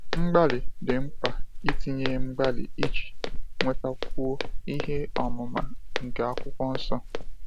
Mgbalị dị mkpa itinye mgbalị iji nwetakwuo ihe ọmụma nke akwụkwọ nsọ